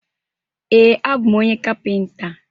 Ee, abụ m onye kapịnta.